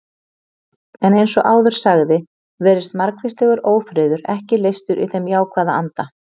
En eins og áður sagði virðist margvíslegur ófriður ekki leystur í þeim jákvæða anda.